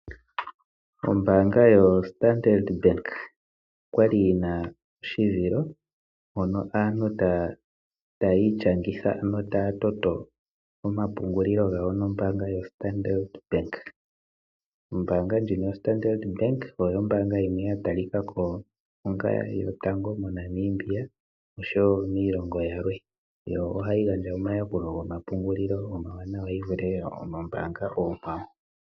Ombaanga yoStandard Bank oya li yina oshituthi mono aantu tayi ishangitha notaya toto omapungulilo gayo nombaanga yoStandard Bank. Ombaanga ndjino yoStandard Bank oyo ombaanga yimwe ya talika ko onga yotango moNamibia oshowo miilongo yilwe, yo ohayi gandja omayakulilo gomapungulilo omawaanawa yi vule oombanga oonkwawo.